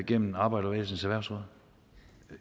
gennem arbejderbevægelsens erhvervsråd